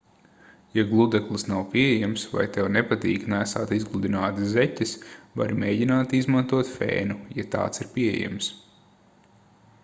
ja gludeklis nav pieejams vai tev nepatīk nēsāt izgludinātas zeķes vari mēģināt izmantot fēnu ja tāds ir pieejams